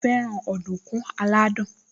Mo fẹ́ràn ọ̀dùnkún aládùn